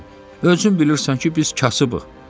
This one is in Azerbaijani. Özün bilirsən ki, biz kasıbıq.